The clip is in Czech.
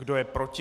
Kdo je proti?